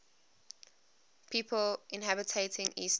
people inhabiting eastern